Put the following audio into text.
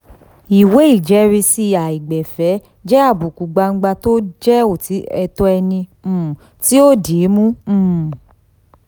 um ìwé ìjẹ́risi aìgbẹ̀fẹ̀ jẹ́ àbùkù gbangba tó jẹ́ ẹ̀tọ́ ẹni um tó di í mú. um